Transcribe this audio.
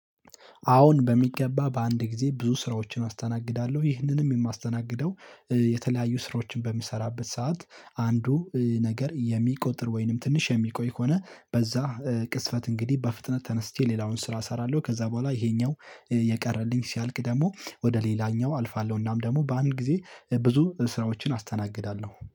አሁን በሚገባ በአንድ ጊዜ ብዙ ስራዎችን አስተናግዳለሁ ይህንንም የማስተናግደው የተለያዩ ስራዎችን በምሰራበት ሰዓት አንዱ ነገር የሚቆጠር ወይንም ትንሽ የሚቆይ ከሆነ በዛ ቅጽበት እንግዲህ በፍጥነት ተነስቼ ሌላውን ስራ እሰራለሁ ከዛ በኋላ ይሄኛው የቀረልኝ ሲያልቅ ደግሞ ወደ ሌላኛው አልፋለሁ እናም ደግሞ በአንድ ጊዜ ብዙ ስራዎችን አስተናግዳለሁ